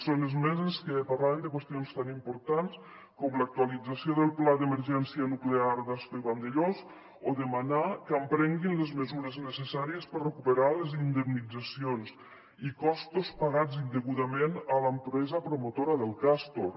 són esmenes que parlaven de qüestions tan importants com l’actualització del pla d’emergència nuclear d’ascó i vandellòs o demanar que emprenguin les mesures necessàries per recuperar les in·demnitzacions i costos pagats indegudament a l’empresa promotora del castor